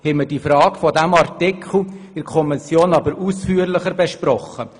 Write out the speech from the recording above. In der Kommission haben wir die inhaltliche Frage dieses Artikels ausführlich erörtert.